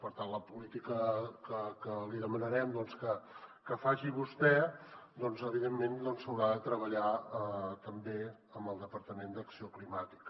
per tant la política que li demanarem que faci vostè evidentment s’haurà de treballar també amb el departament d’acció climàtica